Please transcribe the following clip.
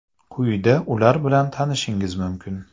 Quyida ular bilan tanishishingiz mumkin.